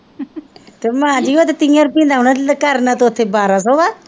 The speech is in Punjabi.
ਤੇ ਮੈਂ ਜੀ ਉਹ ਤਾਂ ਤੀਹਾ ਰੁਪਇਆ ਦਾ ਆਉਣਾ ਤੂੰ ਕਰਨਾ ਤਾਂ ਉੱਥੇ ਬਾਰਾਂ ਸੌ ਆ